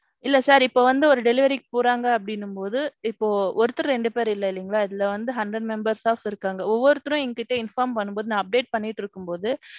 இல்ல sir இப்போ வந்து ஒரு delivery போறாங்க அப்பிடினும்பொது இப்போ ஒருத்தர் ரெண்டுபேர் இல்ல இல்லிங்களா இதுல வந்து hundred member staff இருக்காங்க. ஒவ்வொருத்தரும் எங்கிட்ட inform பன்னும்போதும் நான் update பண்ணிட்ருக்கும் பொது.